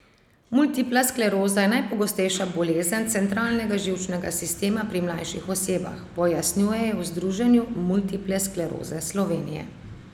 Multipla skleroza je najpogostejša bolezen centralnega živčnega sistema pri mlajših osebah, pojasnjujejo v Združenju multiple skleroze Slovenije.